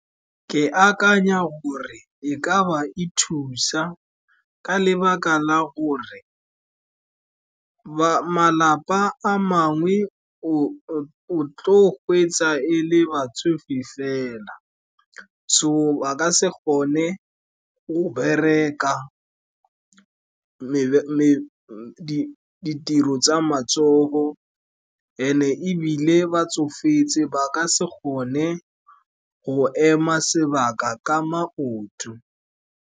Ke akanya gore e ka ba e thusa ka lebaka la gore malapa a mangwe, o tlo gweetsa e le batsofe fela, so ba ka se gone go bereka ditiro tsa matsogo and-e ebile ba tsofetse, ba ka se kgone go ema sebaka ka maoto.